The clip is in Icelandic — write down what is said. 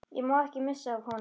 Ég má ekki missa af honum.